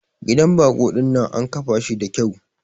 Gidan bako dinnan an kafa shi da kyau.